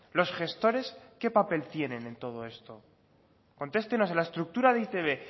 los gestores qué papel tienen en todo esto contestenos a la estructura de e i te be